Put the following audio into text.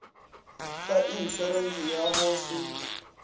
sa inšorense ya go se